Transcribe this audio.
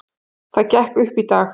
Það gekk upp í dag.